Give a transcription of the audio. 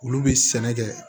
Olu bɛ sɛnɛ kɛ